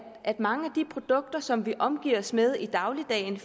mange af de produkter som vi omgiver os med i dagligdagen